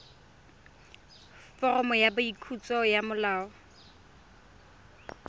foromo ya boikwadiso ya molao